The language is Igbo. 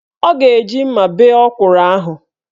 Ọ ga-eji mma bee ọkwụrụ ahụ.